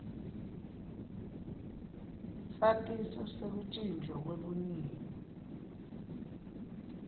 satiso sekutjintjwa kwebuniyo